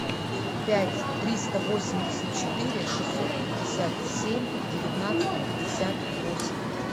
пять триста восемьдесят четыре шестьсот пятьдесят семь девятнадцать пятьдесят восемь